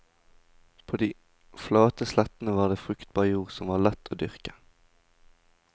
På de flate slettene var det fruktbar jord som var lett å dyrke.